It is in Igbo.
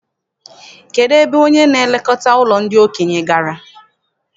Kedụ ebe onye na-elekọta ụlọ ndị okenye gara?